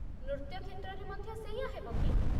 ନୃତ୍ୟ କ୍ଷେତ୍ରରେ ମଧ୍ୟ ସେଇଆ ହେବକି?